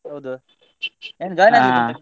ಹೌದು ಏನು join ಆಗ್ಲಿಕ್ಕೆ ಉಂಟ ನಿನ್ಗೆ.